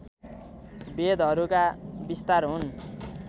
वेदहरूका विस्तार हुन्